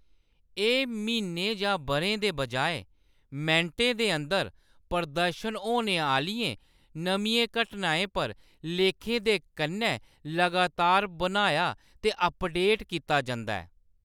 एह्‌‌ म्हीनें जां बʼरें दे बजाए मैंटें दे अंदर प्रदर्शत होने आह्‌‌‌लियें नमियें घटनाएं पर लेखें दे कन्नै लगातार बनाया ते अपडेट कीता जंदा ऐ।